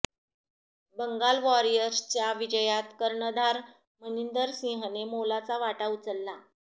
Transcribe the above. बंगाल वॉरियर्सच्या विजयात कर्णधार मनिंदर सिंहने मोलाचा वाटा उचलला